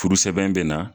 Furu sɛbɛn bɛ na